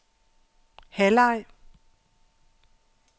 halvleg